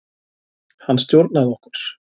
Hann stjórnaði okkur.